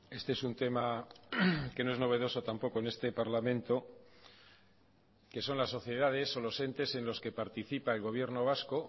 este es un tema que no es novedoso tampoco en este parlamento que son las sociedades o los entes en los que participa el gobierno vasco